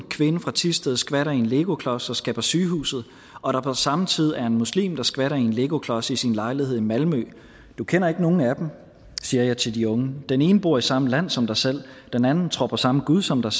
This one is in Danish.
kvinde fra thisted skvatter i en legoklods og skal på sygehuset og på samme tid er der en muslim der skvatter i en legoklods i sin lejlighed i malmø du kender ikke nogen af dem siger jeg til de unge den ene bor i samme land som dig selv den anden tror på samme gud som dig